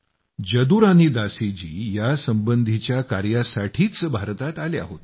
जदुरानी दासी जी यासंबंधीच्या कार्यासाठीच भारतात आल्या होत्या